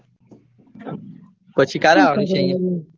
પછી ક્યારે અવાનૂ છે આઈ.